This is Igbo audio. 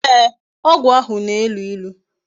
Ee, ogwu ahu na-elu ilu